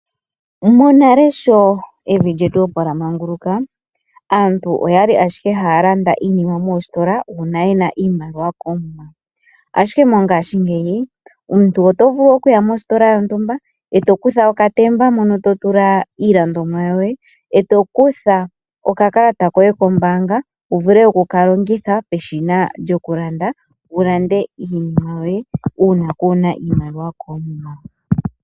Monale evi lyetu sho, opo lyamanguluka aantu oyali ashike haya landa iinima moositola uuna yena iimaliwa koomuma. Ashike mongashingeyi omuntu oto vulu okuya mositola yontumba eto kutha okatemba mono to tula iilandithomwa yoye eto kutha okakalata kpye kombaanga etoka longitha peshina lyontumba uuna kuuna iimaliwa koomuma.